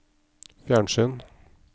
fjernsyn